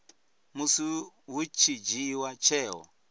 musi hu tshi dzhiiwa tsheo